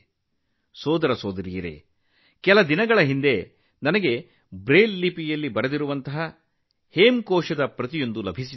ಸಹೋದರ ಸಹೋದರಿಯರೇ ಕೆಲವು ದಿನಗಳ ಹಿಂದೆ ಬ್ರೈಲ್ ಲಿಪಿಯಲ್ಲಿ ಬರೆದ ಹೇಮಕೋಶ್ನ ಪ್ರತಿ ನನಗೆ ಸಿಕ್ಕಿತು